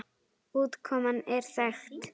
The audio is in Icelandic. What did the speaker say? Útkoman er þekkt.